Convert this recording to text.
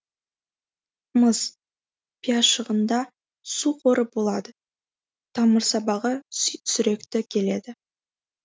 мыс пиязшығында су қоры болады тамырсабағы сүректі келеді